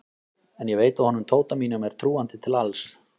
En ég veit að honum Tóta mínum er trúandi til alls.